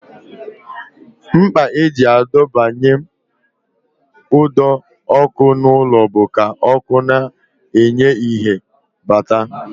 Mkpa e ji adọbanye ụdọọkụ n'ụlọ bụ ka ọkụ na-enye ìhè bata